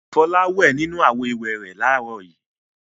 Fọlá wẹ̀ nínú àwo-ìwẹ̀ rẹ̀ láàárọ̀ yìí.